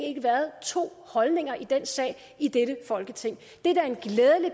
ikke været to holdninger i den sag i dette folketing